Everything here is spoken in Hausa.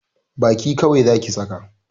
Baki kawai Zaki saka!